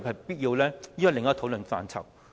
這是另一個討論範疇。